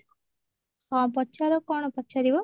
ହଁ ପଚାର କଣ ପଚାରିବ